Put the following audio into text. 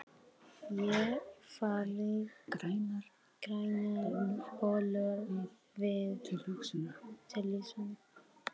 Ég fæ grænar bólur við tilhugsunina!